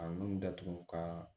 A nun datugu ka